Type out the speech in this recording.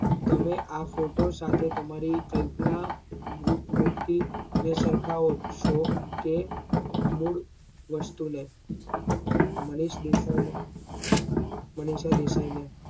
તમે આ photo સાથે તમારી કલ્પના મૂર્તિ ને સરખાવો છો કે મૂળવસ્તુ ને માનીશ દેસાઈ ને મનીષા દેસાઈ ને